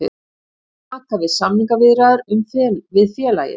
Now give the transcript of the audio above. Nú taka við samningaviðræður við félagið